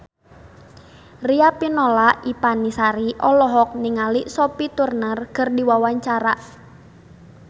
Riafinola Ifani Sari olohok ningali Sophie Turner keur diwawancara